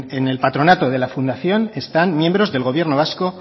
en el patronato de la fundación están miembros del gobierno vasco